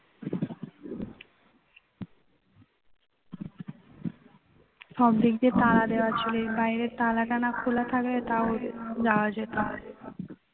সবদিক দিয়ে তালা দেয়া ছিল বাইরের তালাটা খোলা থাকলে তাও যাওয়া যেত